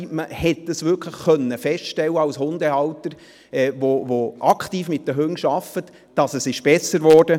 Als Hundehalter, der aktiv mit den Hunden arbeitet, hat man wirklich feststellen können, dass es besser wurde.